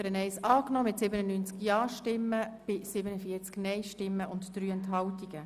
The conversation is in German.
Sie haben die Ziffer 1 angenommen.